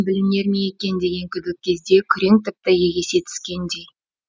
білінер ме екен деген күдік кезде күрең тіпті егесе түскендей